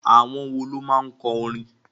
Àwọn wo ló máa kọ orin?